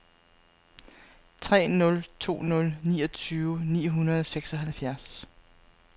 tre nul to nul niogtyve ni hundrede og seksoghalvfjerds